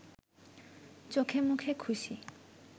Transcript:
চোখেমুখে খুশি